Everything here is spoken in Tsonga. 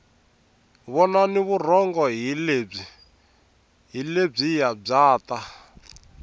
vonani vurhonga hi lebyiya bya ta